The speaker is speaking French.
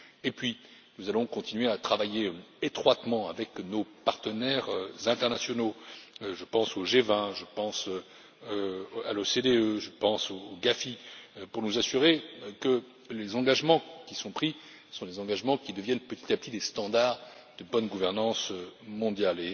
Puis, nous allons continuer à travailler étroitement avec nos partenaires internationaux je pense au G20, je pense à l'OCDE, je pense au GAFI pour nous assurer que les engagements qui sont pris sont des engagements qui deviennent petit à petit des standards de bonne gouvernance mondiale.